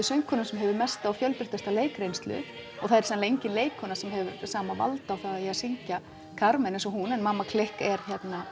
söngkonum sem hefur mesta og fjölbreyttasta leikreynslu og það er sennilega engin leikkona sem hefur sama vald á því að syngja Carmen eins og hún en mamma klikk er